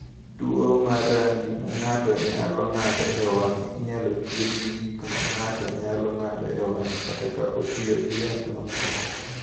"Tuwo mar rangi ma ng’ato nyalo ng’ado e wang’e inyalo thiedh gi gik ma ng’ato nyalo ng’ado e wang’e kata ka otiyo gi yath mamoko."